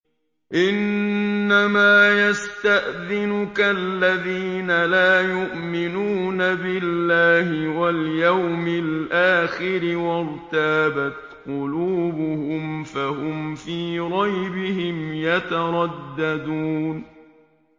إِنَّمَا يَسْتَأْذِنُكَ الَّذِينَ لَا يُؤْمِنُونَ بِاللَّهِ وَالْيَوْمِ الْآخِرِ وَارْتَابَتْ قُلُوبُهُمْ فَهُمْ فِي رَيْبِهِمْ يَتَرَدَّدُونَ